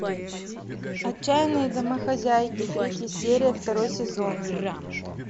отчаянные домохозяйки третья серия второй сезон